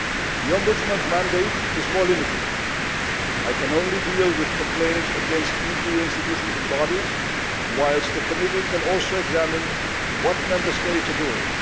The Ombudsman's mandate is more limited I can only deal with complaints against EU institutions and bodies, whilst the Petitions Committee can also examine what Member States are doing.